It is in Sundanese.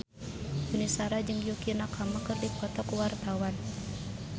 Yuni Shara jeung Yukie Nakama keur dipoto ku wartawan